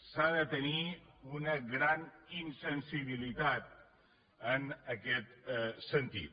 s’ha de tenir una gran insensibilitat en aquest sentit